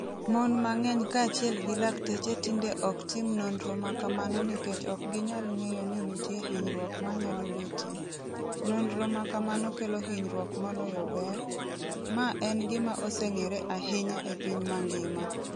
' 'Mon mang'eny kaachiel gi lakteche tinde ok tim nonro ma kamano nikech ok ginyal ng'eyo ni nitie hinyruok manyalo betie' Nonro ma kamano kelo hinyruok moloyo ber, ma en gima oseng'ere ahinya e piny mangima.